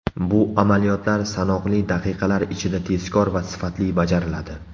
Bu amaliyotlar sanoqli daqiqalar ichida, tezkor va sifatli bajariladi.